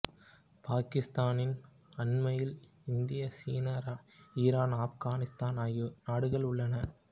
பாக்கிஸ்தானின் அண்மையில் India China Iran ஆப்கானித்தான் ஆகிய நாடுகள் உள்ளன